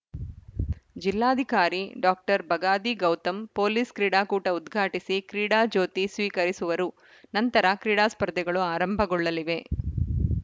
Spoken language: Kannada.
ಜಿಲ್ಲಾಧಿಕಾರಿ ಡಾಕ್ಟರ್ ಬಗಾದಿ ಗೌತಮ್‌ ಪೊಲೀಸ್‌ ಕ್ರೀಡಾಕೂಟ ಉದ್ಘಾಟಿಸಿ ಕ್ರೀಡಾ ಜ್ಯೋತಿ ಸ್ವೀಕರಿಸುವರು ನಂತರ ಕ್ರೀಡಾ ಸ್ಪರ್ಧೆಗಳು ಆರಂಭಗೊಳ್ಳಲಿವೆ